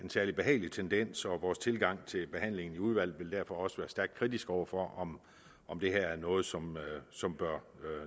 særlig behagelig tendens så vores tilgang til behandlingen i udvalget vil derfor også være stærkt kritisk over for om det er noget som noget som bør